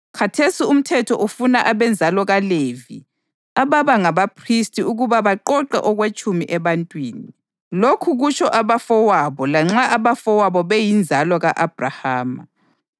Khathesi umthetho ufuna abenzalo kaLevi ababa ngabaphristi ukuba baqoqe okwetshumi ebantwini, lokhu kutsho abafowabo lanxa abafowabo beyinzalo ka-Abhrahama.